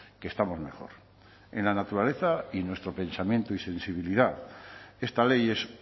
que estamos mejor en la naturaleza y nuestro pensamiento y sensibilidad esta ley es